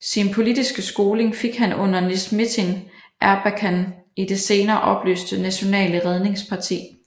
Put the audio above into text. Sin politiske skoling fik han under Necmettin Erbakan i det senere opløste Nationale redningsparti